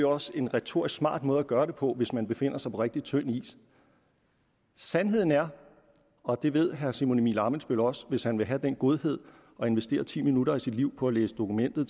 også en retorisk smart måde at gøre det på hvis man befinder sig på rigtig tynd is sandheden er og det vil herre simon emil ammitzbøll også hvis han vil have den godhed at investere ti minutter af sit liv på at læse dokumentet